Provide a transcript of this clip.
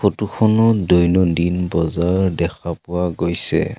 Photo খনত দৈনন্দিন বজাৰ দেখা পোৱা গৈছে।